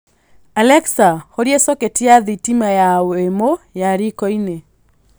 alexa horia socket ya thitima ya wemo ya rikoinĩ